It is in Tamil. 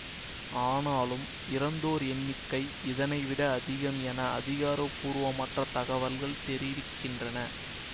ஆனாலும் இறந்தோர் எண்ணிக்கை இதனை விட அதிகம் என அதிகாரபூர்வமற்ற தகவல்கள் தெரிவிக்கின்றன